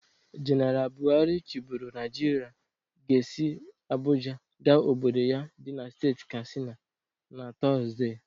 Jeneal Bụharị chiboro Nịajịrịa ga-esi Abụja ga obodo ya dị na steeti Kastina naTọzde.